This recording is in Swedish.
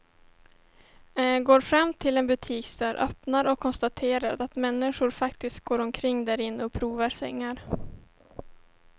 Går fram till en butiksdörr, öppnar och konstaterar att människor faktiskt går omkring därinne och provar sängar.